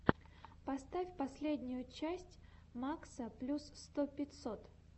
поставь последнюю часть макса плю сто пятьсот